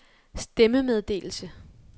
stemmemeddelelse